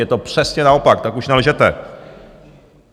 Je to přesně naopak, tak už nelžete.